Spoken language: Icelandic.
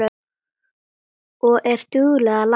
Og er dugleg að læra.